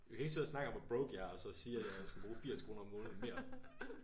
Vi kan ikke sidde og snakke om hvor broke jeg er og så sige at jeg skal bruge over 80 kroner om måneden mere